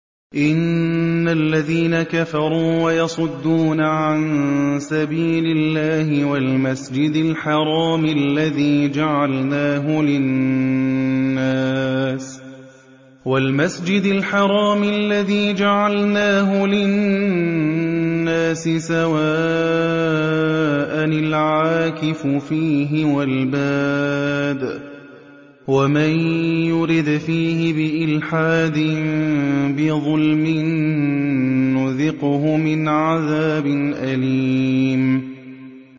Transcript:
إِنَّ الَّذِينَ كَفَرُوا وَيَصُدُّونَ عَن سَبِيلِ اللَّهِ وَالْمَسْجِدِ الْحَرَامِ الَّذِي جَعَلْنَاهُ لِلنَّاسِ سَوَاءً الْعَاكِفُ فِيهِ وَالْبَادِ ۚ وَمَن يُرِدْ فِيهِ بِإِلْحَادٍ بِظُلْمٍ نُّذِقْهُ مِنْ عَذَابٍ أَلِيمٍ